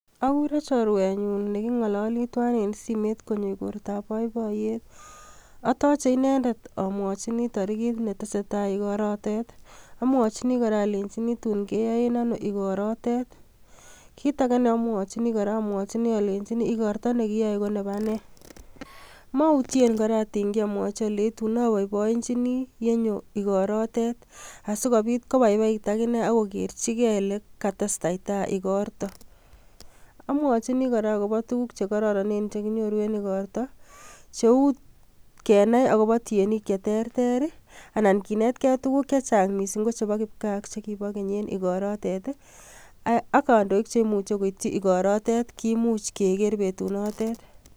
Aguure chorwenyun nekingolole tuwan en simoit konyo igortab boibooyet, atoche inendet amwochini torigit netesetai igortoo, amwochini alenyii tatun keyoe en ono igorto noton, Kitage neomwoichini kora, amwochini alenyini ikorto nekiyae konebaa nee, mautyen kora atingyi amwoche alenyi tatun aboiboienyini yenyo inendet igoroo yet ,sikobiit kobaibai it akine akogerchige ole katestatai igortoo. Amwochini kora akobo tuguuk Che kororonen Che kinyoru en igortoo cheu kenai akobo tienik cheterter, anan kinetgee tuguk chechang chepo kipgaa chekibo keny, ak amwochi alenyi kandoik chetun bwone igortoo kimuche kegeer en betunotok